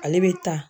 Ale bɛ ta